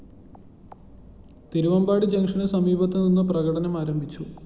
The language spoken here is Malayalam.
തിരുവാമ്പാടി ജങ്ഷനു സമീപത്തുനിന്ന് പ്രകടനം ആരംഭിച്ചു